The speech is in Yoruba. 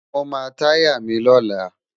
Mó má tàyá mi lólá